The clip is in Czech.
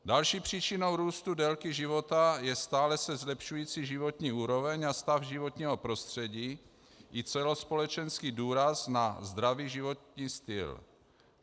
Další příčinou růstu délky života je stále se zlepšující životní úroveň a stav životního prostředí i celospolečenský důraz na zdravý životní styl.